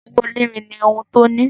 Owó onírin ní ohùn tí o ní.